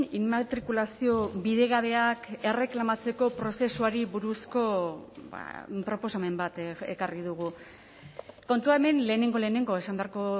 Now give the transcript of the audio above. immatrikulazio bidegabeak erreklamatzeko prozesuari buruzko proposamen bat ekarri dugu kontua hemen lehenengo lehenengo esan beharko